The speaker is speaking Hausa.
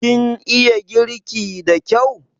Kin iya girki da kyau?